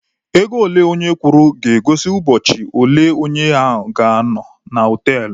Ego ole onye kwụrụ ga-egosi ụbọchị ole onye ahụ ga-anọ na họtelụ